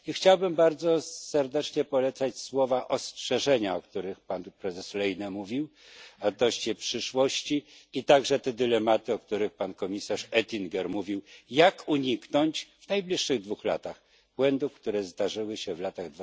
I chciałbym bardzo serdecznie polecać słowa ostrzeżenia, o których pan prezes Lehne mówił, odnośnie do przyszłości i także tych dylematów, o których pan komisarz Oettinger mówił, jak uniknąć w najbliższych dwóch latach błędów, które zdarzyły się w latach